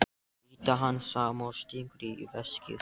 Brýtur hann saman og stingur í veskið.